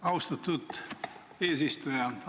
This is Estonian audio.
Austatud eesistuja!